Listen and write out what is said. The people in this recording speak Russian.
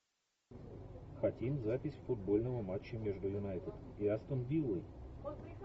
хотим запись футбольного матча между юнайтед и астон виллой